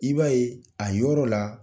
I b'a yen, a yɔrɔ la